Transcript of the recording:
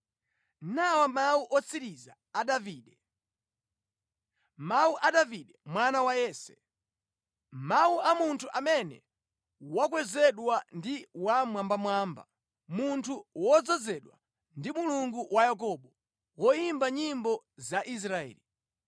Nawa mawu otsiriza a Davide: “Mawu a Davide mwana wa Yese, mawu a munthu amene wakwezedwa ndi Wammwambamwamba, munthu wodzozedwa ndi Mulungu wa Yakobo, woyimba nyimbo za Israeli: